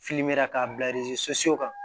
k'a bila kan